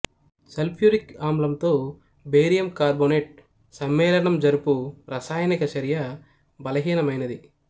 sulphuric ఆమ్లంతో barium carbonate సమ్మేళనం జరుపు రసాయనక చర్య బలహీనమైనది